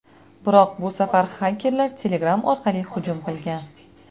Biroq bu safar xakerlar Telegram orqali hujum qilgan.